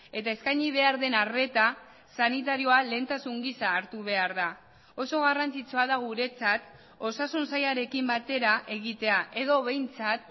eta eskaini behar den arreta sanitarioa lehentasun gisa hartu behar da oso garrantzitsua da guretzat osasun sailarekin batera egitea edo behintzat